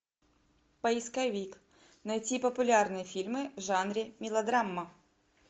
поисковик найти популярные фильмы в жанре мелодрама